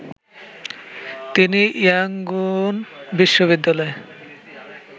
তিনি ইয়াংগুন বিশ্ববিদ্যালয়